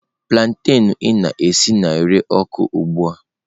Plantain ị na-esi na-ere ọkụ ugbua.